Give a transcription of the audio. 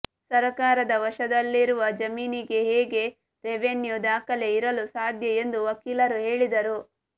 ಸರಕಾರದ ವಶದಲ್ಲಿರುವ ಜಮೀನಿಗೆ ಹೇಗೆ ರೆವೆನ್ಯು ದಾಖಲೆ ಇರಲು ಸಾಧ್ಯ ಎಂದು ವಕೀಲರು ಹೇಳಿದರು